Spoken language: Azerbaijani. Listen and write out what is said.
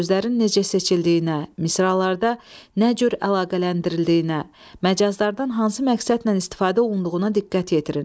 Sözlərin necə seçildiyinə, misralarda nə cür əlaqələndirildiyinə, məcazlardan hansı məqsədlə istifadə olunduğuna diqqət yetirin.